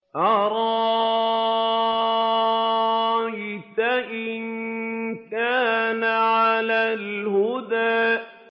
أَرَأَيْتَ إِن كَانَ عَلَى الْهُدَىٰ